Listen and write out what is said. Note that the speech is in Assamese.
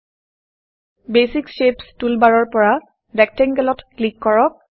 বেচিক শেপছ বেছিক শ্বেপছ্ টুলবাৰৰ পৰা Rectangleৰেকটেংগলত ক্লিক কৰক